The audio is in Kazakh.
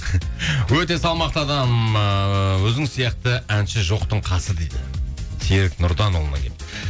өте салмақты адам ыыы өзіңіз сияқты әнші жоқтың қасы дейді серік нұрданұлынан келіпті